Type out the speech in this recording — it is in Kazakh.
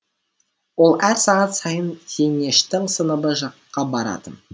ол әр сағат сайын зейнештің сыныбы жаққа баратын